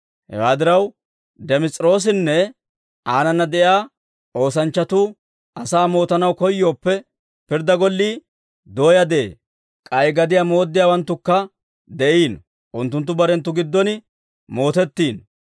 Hewaa diraw, Dimes'iroosinne aanana de'iyaa oosanchchatuu asaa mootanaw koyyooppe, pirddaa gollii dooyaa de'ee; k'ay gadiyaa mooddiyaawanttukka de'iino; unttunttu barenttu giddon mootettiino.